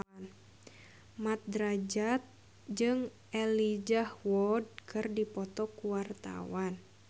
Mat Drajat jeung Elijah Wood keur dipoto ku wartawan